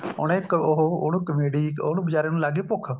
ਉਹਨੇ ਇੱਕ ਉਹ ਉਹਨੂੰ comedy ਉਹਨੂੰ ਬੇਚਾਰੇ ਨੂੰ ਲੱਗ ਗਈ ਭੁੱਖ